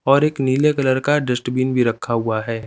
और एक नीले कलर का डस्टबिन भी रखा हुआ है।